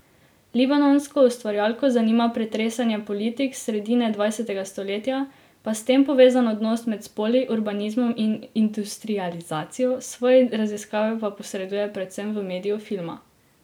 Libanonsko ustvarjalko zanima pretresanje politik s sredine dvajsetega stoletja, pa s tem povezan odnos med spoli, urbanizmom in industrializacijo, svoje raziskave pa posreduje predvsem v mediju filma.